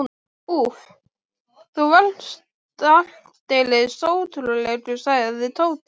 Úff, þú varst aldeilis ótrúlegur, sagði Tóti.